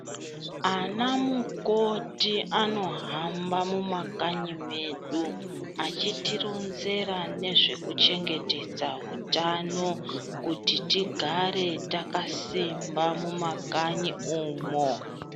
Anamukoti anohamba mumakanyi medu achitironzera nezvekuchengetedza hutano kuti tigare takasimba mumakanyi umo.